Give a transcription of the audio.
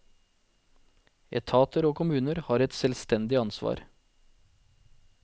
Etater og kommuner har et selvstendig ansvar.